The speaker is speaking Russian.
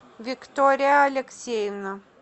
виктория алексеевна